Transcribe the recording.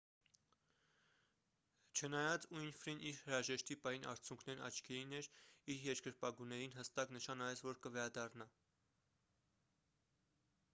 չնայած ուինֆրին իր հրաժեշտի պահին արցունքներն աչքերին էր իր երկրպագուներին հստակ նշան արեց որ կվերադառնա